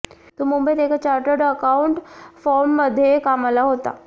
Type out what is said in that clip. तो मुंबईत एका चार्टर्ड अकौंटंट फर्ममध्ये कामाला होता